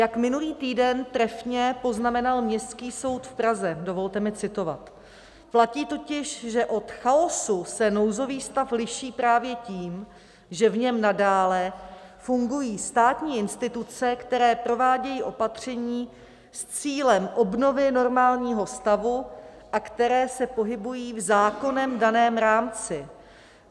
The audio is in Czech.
Jak minulý týden trefně poznamenal Městský soud v Praze - dovolte mi citovat: "Platí totiž, že od chaosu se nouzový stav liší právě tím, že v něm nadále fungují státní instituce, které provádějí opatření s cílem obnovy normálního stavu a které se pohybují v zákonem daném rámci.